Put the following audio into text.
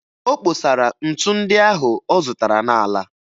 O kposara ntu ndị ahụ ọ zụtara n'ala